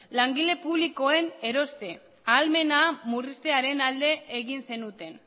langile publikoen eroste ahalmena murriztearen alde egin zenuten